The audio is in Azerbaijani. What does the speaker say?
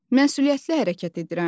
Məsuliyyətli hərəkət edirəm?